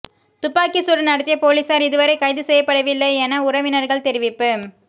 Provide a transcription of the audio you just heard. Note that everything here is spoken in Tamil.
துப்பாக்கிச் சூடு நடத்திய பொலிஸார் இதுவரை கைது செய்யப்படவில்லையென உறவினர்கள் தெரிவிப்பு